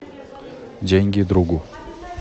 деньги другу